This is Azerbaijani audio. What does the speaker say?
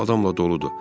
Ev adamla doludur.